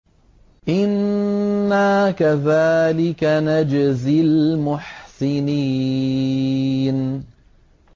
إِنَّا كَذَٰلِكَ نَجْزِي الْمُحْسِنِينَ